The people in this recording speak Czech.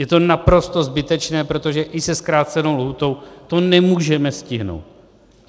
Je to naprosto zbytečné, protože i se zkrácenou lhůtou to nemůžeme stihnout.